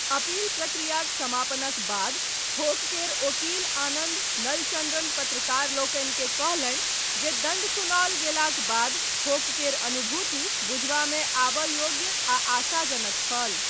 Appeal प्रक्रियाक समापनक बाद, खोक केर ओकील आनन्द नलचन्द्रन, पत्रकारलोकनिकेँ कहलनि, जे दण्ड सुनाओल गेलाक बाद, खोक केर अनुभूति बुझबामे आबय योग्य, आ आशाजनक छल।